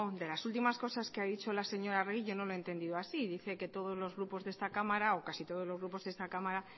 de las últimas cosas que ha dicho la señora arregi yo no lo he entendido así dice que todos los grupos de esta cámara o casi todos los grupos de esta cámara